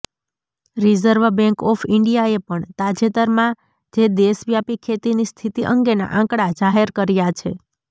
reserve bank of ઈન્ડિયાએ પણ તાજેતરમાં જે દેશવ્યાપી ખેતીની સ્થિતિ અંગેના આંકડા જાહેર કર્યા છે